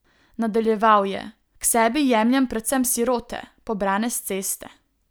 Nadaljeval je: "K sebi jemljem predvsem sirote, pobrane s ceste.